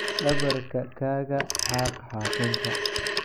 Dhabarka kaga xaaq xaaqinka.